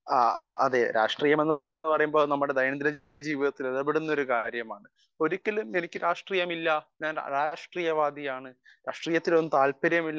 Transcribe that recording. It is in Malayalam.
സ്പീക്കർ 1 അതെ രാഷ്ട്രീയം എന്ന് പറയുന്നത് നമ്മുടെ ദൈനം ദിന ജീവിതത്തിൽ ഇടപെടുന്ന ഒരു കാര്യമാണ് ഒരിക്കലും എനിക്ക് രാഷ്ട്രീയമില്ല അരാഷ്ട്രീയ വാദിയാണ് രാഷ്ട്രീയത്തിലൊന്നും താല്പര്യമില്ല